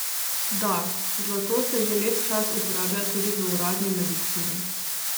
Da, zlato se že lep čas uporablja tudi v uradni medicini.